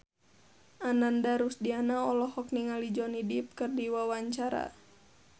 Ananda Rusdiana olohok ningali Johnny Depp keur diwawancara